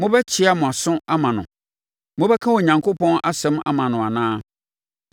Mobɛkyea mo aso ama no? Mobɛka Onyankopɔn asɛm ama no anaa?